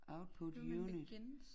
Output unit